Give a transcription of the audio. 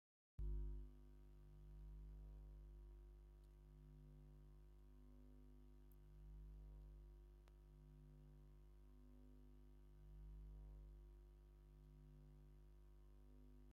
እዚ ዕንቑታት አዩ ዝተፈላለዩ ሕብርታት ኣለውዎ ፡ እዚ ኣብ ኽባቢ ኽልል ጋምቤላ ዝርከቡ ማሕበረሰብ ኣብ ክሳዶምን ማእገሮምንዓጢቖም ዝጥቐሙ ንመጋየፂ እዮም ዝጥቐሙሉ ።